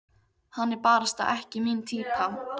Hann er barasta ekki mín týpa.